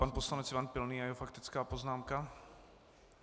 Pan poslanec Ivan Pilný a jeho faktická poznámka.